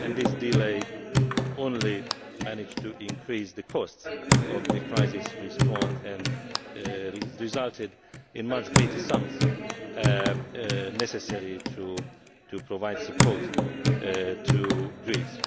This delay only served to increase the costs of the crisis response and resulted in much greater sums being necessary to provide support to Greece.